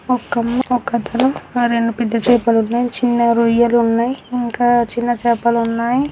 ఒక అమ్మ ఒకతను ఆ రెండు పెద్ద చేపలు ఉన్నాయి.చిన్న రొయ్యలు ఉన్నాయి. ఇంకా చిన్న చేపలు ఉన్నాయి.